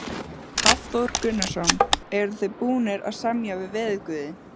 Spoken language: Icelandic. Hafþór Gunnarsson: Eruð þið búnir að semja við veðurguði?